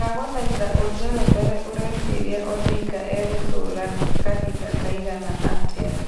ndagũthaĩtha ũjerethere ũreciria odinga e gũtura kahĩnda kaigana atĩa